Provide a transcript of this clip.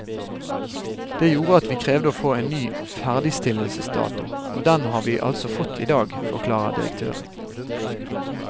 Det gjorde at vi krevde å få en ny ferdigstillelsesdato, og den har vi altså fått i dag, forklarer direktøren.